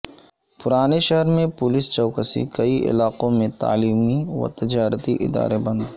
پرانے شہر میں پولیس چوکسی کئی علاقوں میں تعلیمی و تجارتی ادارے بند